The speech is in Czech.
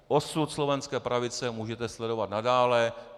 Osud slovenské pravice můžete sledovat nadále.